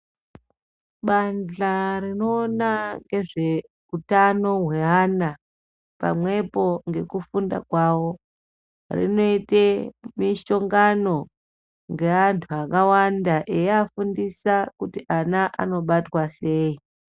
Bandhla rinoona ngezveutano hweana pamwepo ngekufunda kwawo rinoite mishongano ngeantu akawanda eyiafundisa kuti ana anobatwa sei.